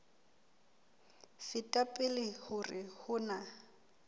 feta pele hore ho na